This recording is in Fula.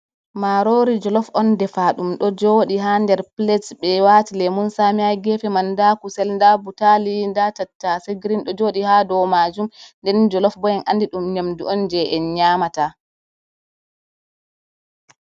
Marori jolof on defa ɗum ɗo joɗi ha nder plade ɓe wati lemun sami ha gefe man, nda kusel, nda butali, nda tatase grin ɗo joɗi ha dou majum, den jolof bo en andi ɗum nyamdu ’on je en nyamata.